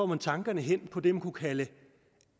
man tankerne hen på det man kunne kalde